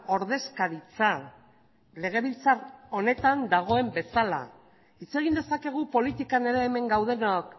ordezkaritza legebiltzar honetan dagoen bezala hitz egin dezakegu politikan ere hemen gaudenok